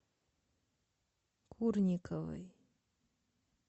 курниковой